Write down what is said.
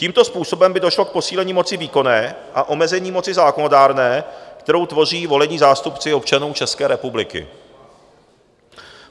Tímto způsobem by došlo k posílení moci výkonné a omezení moci zákonodárné, kterou tvoří volení zástupci občanů České republiky.